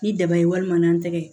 Ni daba ye walima n'an tɛgɛ